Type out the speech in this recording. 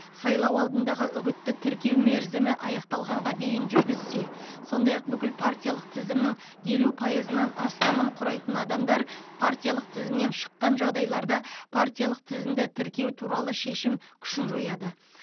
сайлау алдындағы үгітті тіркеу мерзімі аяқталғанға дейін жүргізсе сондай ақ бүкіл партиялық тізімнің елу пайызынан астамын құрайтын адамдар партиялық тізімнен шыққан жағдайларда партиялық тізімді тіркеу туралы шешім күшін жояды